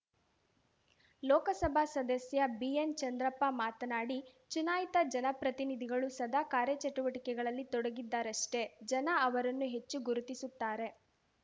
ಲೋಕಸಭಾ ಸದಸ್ಯ ಬಿಎನ್‌ಚಂದ್ರಪ್ಪ ಮಾತನಾಡಿ ಚುನಾಯಿತ ಜನಪ್ರತಿನಿಧಿಗಳು ಸದಾ ಕಾರ್ಯಚಟುವಟಿಕೆಗಳಲ್ಲಿ ತೊಡಗಿದ್ದರಷ್ಟೇ ಜನ ಅವರನ್ನು ಹೆಚ್ಚು ಗುರುತಿಸುತ್ತಾರೆ